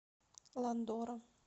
ландора